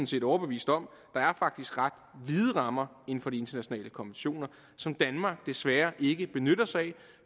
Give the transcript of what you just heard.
set overbevist om der er faktisk ret vide rammer inden for de internationale konventioner som danmark desværre ikke benytter sig af